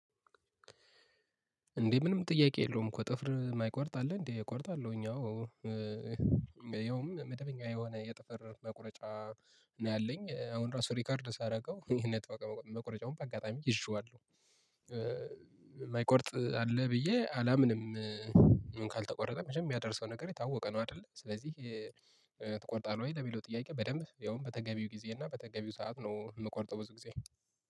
እንዴ ምንም ጥያቄ የለውም እኮ ጥፍር የማይቆርጥ አለ እንዴ እቆርጣለሁኝ አዎ። ይኸውም መደበኛ የሆነ የጥፍር መቁረጫ ነው ያለኝ አሁን ራሱ ሪከርድ ሳደርገው እኔ ነበር መቁረጫውን በአጋጣሚ ይዤዋለሁ። የማይቆርጥ አለ ብዬ አላምንም። ምን ካልተቆረጠ መቸም የሚያደርሰው ነገር የታወቀ ነው አይደል? ስለዚህ ትቆርጣለህ ወይ? ለሚለው ጥያቄ በደንብ ያውም በተገቢው ጊዜ እና በተገቢው ሰዓት ነው የምቆርጠው። ብዙ ጊዜ